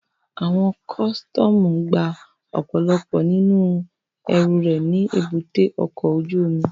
Àwọn kọ́sítọ́mù gba ọ̀pọ̀lọpọ̀ nínú ẹrù rẹ̀ ní èbúté ọkọ̀ ojú omi